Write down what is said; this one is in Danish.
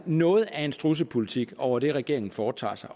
noget af en strudsepolitik over det regeringen foretager sig